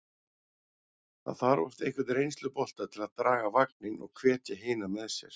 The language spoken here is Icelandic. Það þarf oft einhvern reynslubolta til að draga vagninn og hvetja hina með sér.